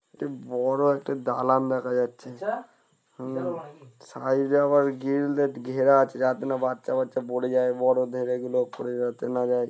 একটি বড়ো একটা দালান দেখা যাচ্ছে উম সাইড -এ আবার গ্রিল দিয়ে ঘেরা আছে যাতে না বাচ্চা ফাচ্চা পড়ে যায় বড়ো ধেড়েগুলো পড়ে যাতে না যায় ।